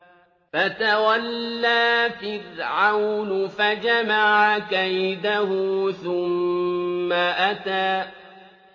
فَتَوَلَّىٰ فِرْعَوْنُ فَجَمَعَ كَيْدَهُ ثُمَّ أَتَىٰ